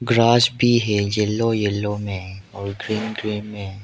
Grass भी है yellow yellow में और ग्रीन ग्रीन में।